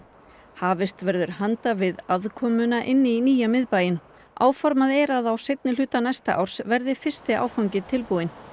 hafist verður handa við innkomuna í nýja miðbæinn áformað er að á seinni hluta næsta árs verði fyrsti áfanginn tilbúinn